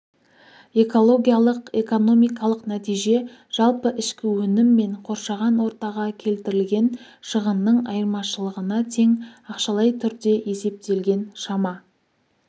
экологиялық-экономикалық нәтиже жалпы ішкі өнім мен қоршаған ортаға келтірілген шығынның айырмашылығына тең ақшалай түрде есептелген шама